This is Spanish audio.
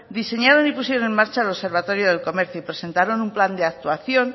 diseñaron y pusieron en marcha el observatorio del comercio y presentaron un plan de actuación